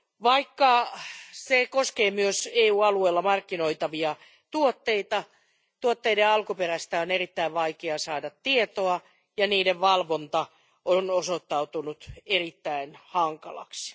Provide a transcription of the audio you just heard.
Vaikka se koskee myös EU alueella markkinoitavia tuotteita, tuotteiden alkuperästä on erittäin vaikea saada tietoa ja niiden valvonta on osoittautunut erittäin hankalaksi.